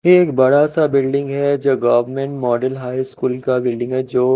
एक बड़ा सा बिल्डिंग है जो गवर्नमेंट मॉडल हाई स्कूल का बिल्डिंग है जो--